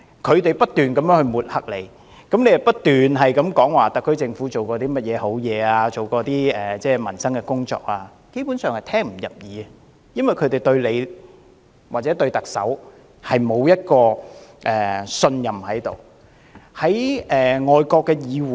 他們不斷抹黑司長，而司長不斷指出特區政府做了甚麼有利民生的工作，但他們基本上是聽不入耳的，因為他們並不信任司長或特首。